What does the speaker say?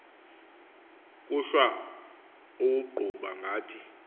kuhlwa uwuqhuba ngathi